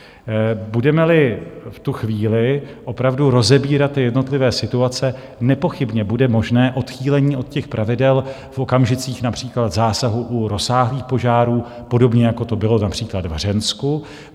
Budeme-li v tu chvíli opravdu rozebírat jednotlivé situace, nepochybně bude možné odchýlení od těch pravidel v okamžicích například zásahu u rozsáhlých požárů, podobně jako to bylo například v Hřensku.